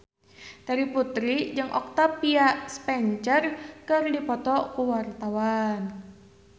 Terry Putri jeung Octavia Spencer keur dipoto ku wartawan